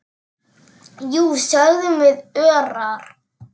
Jú, sögðum við örar.